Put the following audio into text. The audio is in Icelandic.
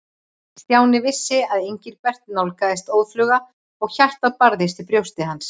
Stjáni vissi að Engilbert nálgaðist óðfluga og hjartað barðist í brjósti hans.